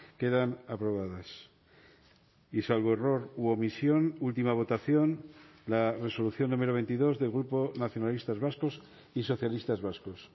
quedan aprobadas y salvo error u omisión última votación la resolución número veintidós del grupo nacionalistas vascos y socialistas vascos